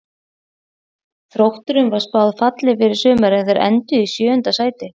Þrótturum var spáð falli fyrir sumarið en þeir enduðu í sjöunda sæti.